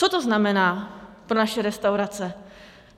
Co to znamená pro naše restaurace?